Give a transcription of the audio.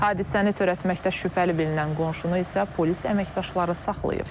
Hadisəni törətməkdə şübhəli bilinən qonşunu isə polis əməkdaşları saxlayıb.